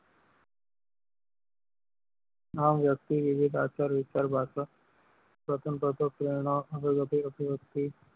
આ વ્યક્તિ વિવિધ આચાર વિચાર પાસે પ્રથમ